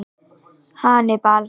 Hannibal